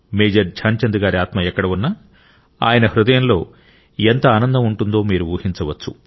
major Dhyan Chand గారి ఆత్మ ఎక్కడ ఉన్నా ఆయన హృదయంలో ఎంత ఆనందం ఉంటుందో మీరు ఊహించవచ్చు